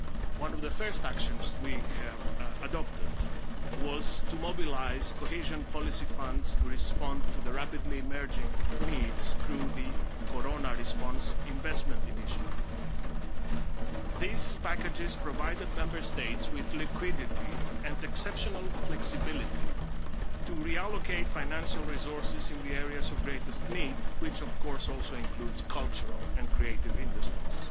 One of the first actions we have adopted was to mobilise Cohesion Policy funds to respond to the rapidly emerging needs through the Corona Response Investment Initiative. These packages provided Member States with liquidity and exceptional flexibility to reallocate financial resources in the areas of greatest need, which of course also includes cultural and creative industries.